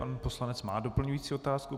Pan poslanec má doplňující otázku.